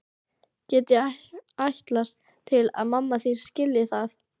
Get ég ætlast til að mamma þín skilji það?